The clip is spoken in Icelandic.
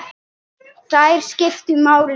Þær skiptu máli.